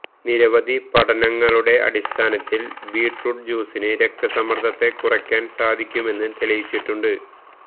നിരവധി പഠനങ്ങളുടെ അടിസ്ഥാനത്തില് ബീറ്റ്റൂട്ട് ജ്യൂസിന് രക്തസമ്മര്ദ്ദത്തെ കുറയ്ക്കാന് സാധിക്കുമെന്ന് തെളിയിച്ചിട്ടുണ്ട്